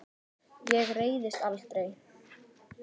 Ég reiðist aldrei.